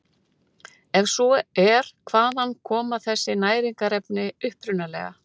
Ef svo er hvaðan koma þessi næringarefni upprunalega?